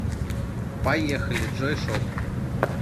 поехали джойшоп